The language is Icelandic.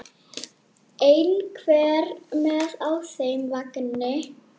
Einhver með á þeim vagni?